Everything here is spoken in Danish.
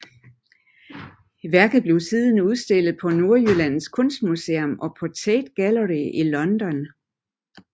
Værket blev siden udstillet på Nordjyllands Kunstmuseum og på Tate Gallery i London